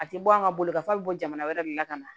A tɛ bɔ an ka bolokanfili bɔ jamana wɛrɛ de la ka na